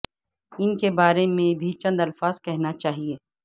ان کے بارے میں بھی چند الفاظ کہنا چاہئے